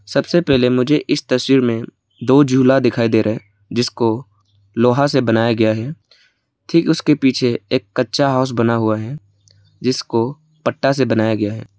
सबसे पहले मुझे इस तस्वीर में दो झूला दिखाई दे रहा है जिसको लोहा से बनाया गया है ठीक उसके पीछे एक कच्चा हाउस बना हुआ है जिसको पट्टा से बनाया गया है।